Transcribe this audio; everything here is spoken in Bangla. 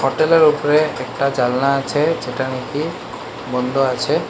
হোটেল -এর ওপরে একটা জানলা আছে যেটা নাকি বন্ধ আছে।